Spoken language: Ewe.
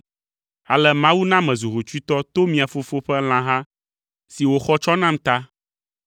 Ale Mawu na mezu hotsuitɔ to mia fofo ƒe lãha si wòxɔ tsɔ nam ta.